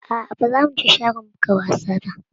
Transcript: Aa ba za mu je shagon buga wasa ba